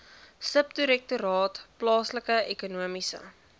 subdirektoraat plaaslike ekonomiese